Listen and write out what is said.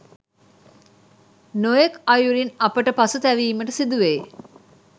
නොයෙක් අයුරින් අපට පසුතැවීමට සිදුවෙයි.